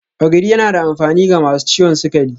Ogiri yana da amfani ga masu ciwon sukari